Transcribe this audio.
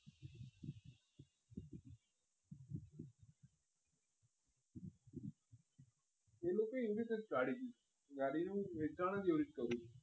એ લોકો એવી રીતે જ કરે તે ગાડીનું વેચાણ જે રીતના કર્યું હતું